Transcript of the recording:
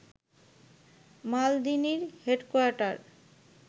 মালদিনির headquarter